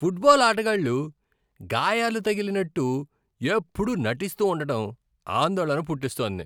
Football ఆటగాళ్లు గాయాలు తగిలినట్టు ఎప్పుడూ నటిస్తూ ఉండడం ఆందోళన పుట్టిస్తోంది.